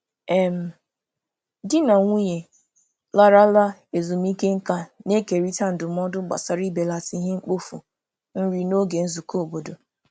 um Di na nwunye larala ezumike nka na-ekerịta ndụmọdụ gbasara ibelata ihe mkpofu nri n'oge nzukọ obodo.